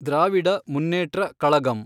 Dravida Munnetra Kazhagam